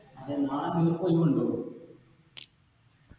അതെ നാളെ നിങ്ങൾക്കൊയിവുണ്ടോ